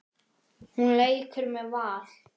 Hún leikur með Val.